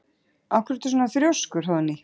Af hverju ertu svona þrjóskur, Hróðný?